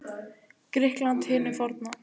Grikklandi hinu forna.